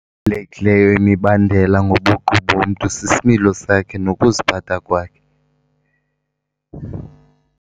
Ebalulekileyo imibandela ngobuqu bomntu sisimilo sakhe nokuziphatha kwakhe.